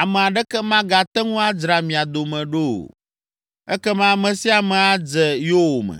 ame aɖeke magate ŋu adzra mia dome ɖo o. Ekema ame sia ame adze yowòme.”